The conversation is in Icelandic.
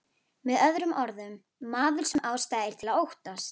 Með öðrum orðum, maður sem ástæða er til að óttast.